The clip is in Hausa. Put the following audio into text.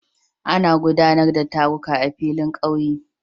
Ana guɗanar da taruka a filin ƙauye